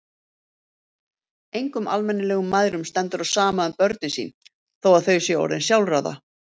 Engum almennilegum mæðrum stendur á sama um börnin sín þó að þau séu orðin sjálfráða.